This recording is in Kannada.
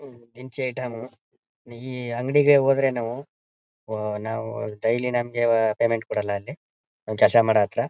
ಹ್ ದಿನಸಿ ಐಟಂ ಈ ಅಂಗಡಿಗೆ ಹೋದ್ರೆ ನಾವು ಹೊ ನಾವು ಡೈಲಿ ನಮಗೆ ಪೇಮೆಂಟ್ ಕೊಡಲ್ಲ ಅಲ್ಲಿ ಕೆಲಸ ಮಾಡೋ ಹತ್ರ.